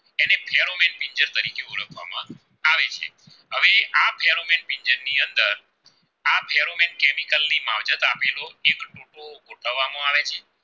એની કલ માંજતા બેરોપ એક ટુકો ગોઠવવા માં આવે છે.